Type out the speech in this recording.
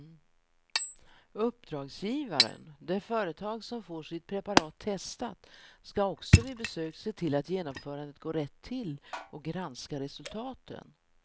Uppdragsgivaren, det företag som får sitt preparat testat, skall också vid besök se till att genomförandet går rätt till och granska resultaten.